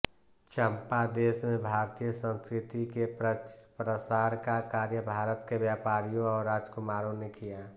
चम्पादेश में भारतीय संस्कृति के प्रसार का कार्य भारत के व्यापारियों और राजकुमारों ने किया